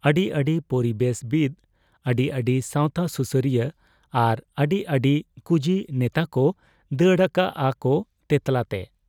ᱟᱹᱰᱤ ᱟᱹᱰᱤ ᱯᱚᱨᱤᱵᱮᱥ ᱵᱤᱛ, ᱟᱹᱰᱤ ᱟᱹᱰᱤ ᱥᱟᱶᱛᱟ ᱥᱩᱥᱟᱹᱨᱤᱭᱟᱹ ᱟᱨ ᱟᱹᱰᱤ ᱟᱹᱰᱤ ᱠᱩᱡᱤ ᱱᱮᱛᱟᱠᱚ ᱫᱟᱹᱲ ᱟᱠᱟᱜ ᱟ ᱠᱚ ᱛᱮᱸᱛᱞᱟ ᱛᱮ ᱾